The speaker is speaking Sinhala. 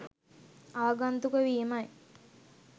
ආගන්තුක වීමයි.